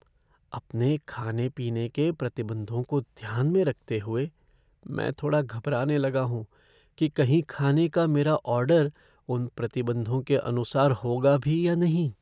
अपने खाने पीने के प्रतिबंधों को ध्यान में रखते हुए, मैं थोड़ा घबराने लगा हूँ कि कहीं खाने का मेरा ऑर्डर उन प्रतिबंधों के अनुसार होगा भी या नहीं।